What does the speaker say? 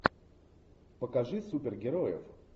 покажи супергероев